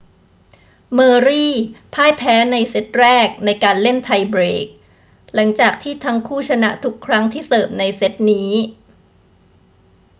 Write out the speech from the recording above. เมอร์รีพ่ายแพ้ในเซตแรกในการเล่นไทเบรก หลังจากที่ทั้งคู่ชนะทุกครั้งที่เสิร์ฟในเซตนี้